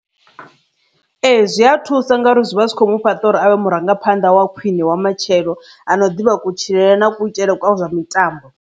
Ee, zwi a thusa ngauri zwi vha zwi kho mu fhaṱa uri avhe murangaphanḓa wa khwine wa matshelo ano ḓivha kutshilele na kutshilele kwavho zwa mitambo.